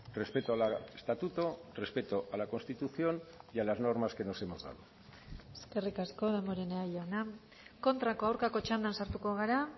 respeto al estatuto respeto a la constitución y a las normas que nos hemos dado eskerrik asko damborenea jauna kontrako aurkako txandan sartuko gara